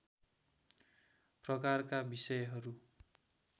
प्रकारका विषयहरू